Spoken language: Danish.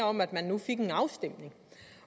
om at man nu fik en afstemning